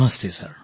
Namaste sir